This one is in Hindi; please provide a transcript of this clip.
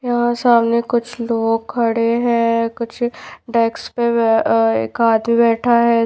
यहाँ सामने कुछ लोग खड़े है कुछ डेस्क पे अ खाते बैठा है।